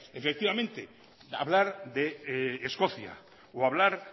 efectivamente hablar de escocia o hablar